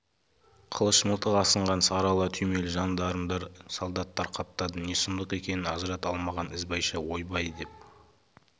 қылыш мылтық асынған сарыала түймелі жандармдар солдаттар қаптады не сұмдық екенін ажырата алмаған ізбайша ойбай деп